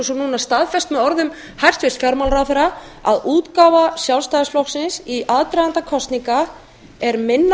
og svo núna staðfest með orðum hæstvirts fjármálaráðherra að útgáfa sjálfstæðisflokksins í aðdraganda kosninga er minna